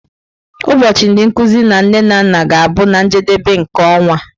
Ụbọchị ndị nkuzi na nne na nna ga-abụ na njedebe nke ọnwa.